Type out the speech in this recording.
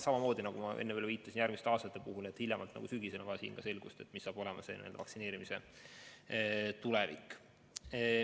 Samamoodi nagu ma enne viitasin, et hiljemalt sügisel on vaja selgust, milline saab järgmistel aastatel olema vaktsineerimine.